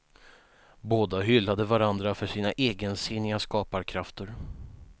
Båda hyllade varandra för sina egensinniga skaparkrafter.